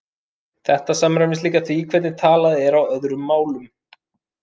Þetta samræmist líka því hvernig talað er á öðrum málum.